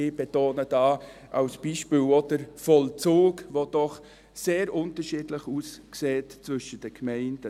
Ich betone hier als Beispiel auch den Vollzug, der doch sehr unterschiedlich aussieht zwischen den Gemeinden.